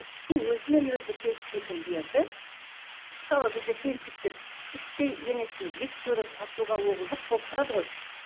ішкі өзімен өзі келіспейтін жерді мысалы бізде келіншектер іштей енесін жек көріп атуға оғы жоқ болып тұрады ғой